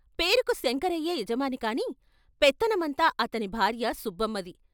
పేరుకు శంకరయ్యే యజమాని కాని, పెత్తనమంతా అతని భార్య సుబ్బమ్మది.